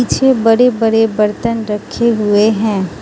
छे बड़े बड़े बर्तन रखे हुए हैं।